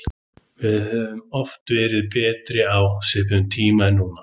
Við höfum oft verið betri á svipuðum tíma en núna.